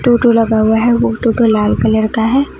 टोटो लगा हुआ है वो टोटो लाल कलर का है।